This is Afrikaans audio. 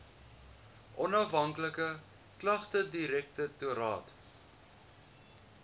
onafhanklike klagtedirektoraat